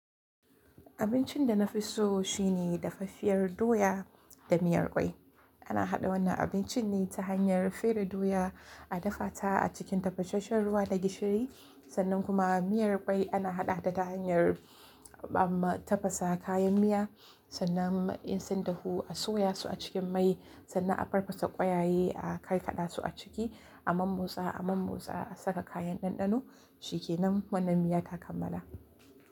Abincin da na fi so shine dafaffiyar doya da miyar kwai. Ana haɗa wannan abincin ne ta hanyar fere doya, a dafa ta a cikin tafasasshen ruwa da gishiri, sannan kuma miyar kwai ana haɗa ta ta hanyar amma tafasa kayan miya, sannan in sun dahu a soya su a cikin mai, sannan a farfasa kwayaye, a karkada su a ciki, a mommotsa, a mommotsa, a saka kayan ɗanɗano, shikenan wannan miya ta kammala.